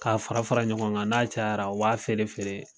K'a fara fara ɲɔgɔn kan n'a cayara u b'a feere feere